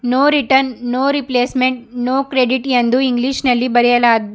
No return no replacement no credit ಎಂದು English ನಲ್ಲಿ ಬರೆಯಲಾ.